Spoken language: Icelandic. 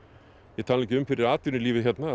ég tala nú ekki um fyrir atvinnulífið hérna